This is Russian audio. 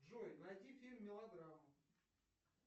джой найди фильм мелодраму